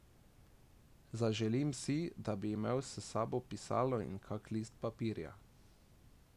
Zaželim si, da bi imel s sabo pisalo in kak list papirja.